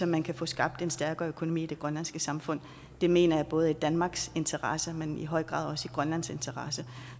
man kan få skabt en stærkere økonomi i det grønlandske samfund det mener jeg er i både danmarks interesse men i høj grad også i grønlands interesse